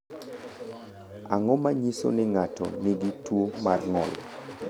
Ang’o ma nyiso ni ng’ato nigi tuwo mar ng’ol?